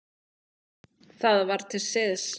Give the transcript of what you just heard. Það var til siðs.